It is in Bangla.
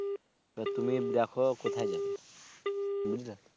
তুমি দেখো কোথায় যাবে বুঝলে